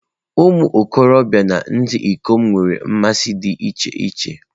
Ụmụ okorobịa na ndị ikom nwere mmasị dị iche iche.